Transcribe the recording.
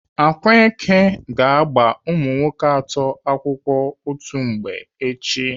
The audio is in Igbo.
Akwaeke ga-agba umunwoke atọ akwụkwọ otu mgbe echi.